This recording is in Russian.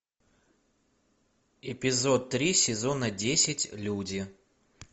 эпизод три сезона десять люди